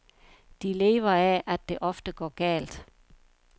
De lever af, at det ofte går galt.